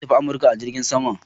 Zan tafi kasan Amurka a jirgin sama.